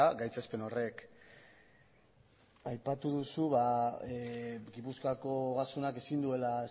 gaitzespen horrek aipatu duzu gipuzkoako ogasunak ezin duela